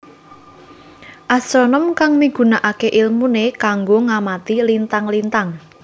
Astronom kang migunakaké ilmuné kanggo ngamati lintang lintang